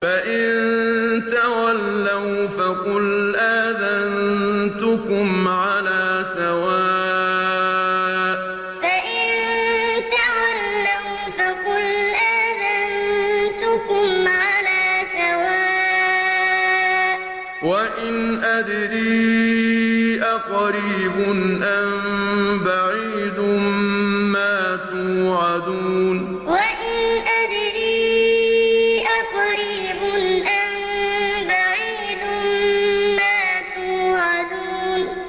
فَإِن تَوَلَّوْا فَقُلْ آذَنتُكُمْ عَلَىٰ سَوَاءٍ ۖ وَإِنْ أَدْرِي أَقَرِيبٌ أَم بَعِيدٌ مَّا تُوعَدُونَ فَإِن تَوَلَّوْا فَقُلْ آذَنتُكُمْ عَلَىٰ سَوَاءٍ ۖ وَإِنْ أَدْرِي أَقَرِيبٌ أَم بَعِيدٌ مَّا تُوعَدُونَ